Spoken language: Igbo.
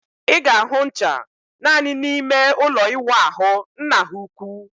Ị ga-ahụ ncha naani n'ime ụlọ ịwụ ahu nna ha ukwu